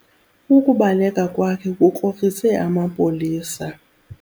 Ukubaleka kwakhe kukrokrise amapolisa.